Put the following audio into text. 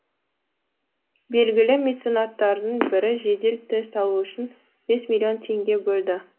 белгілі меценаттардың бірі жедел тест алу үшін бес миллион теңге бөлді